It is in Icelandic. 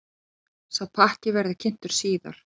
Sá pakki verði kynntur síðar.